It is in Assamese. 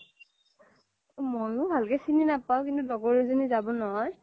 মইও ভালকে চিনি নাপাও কিন্তু লগৰ এজ্নি যাব নহয়